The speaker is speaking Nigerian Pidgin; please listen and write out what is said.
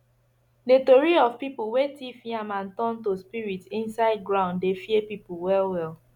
the tori of people wey thief yam and turn to spirit inside ground dey fear people well well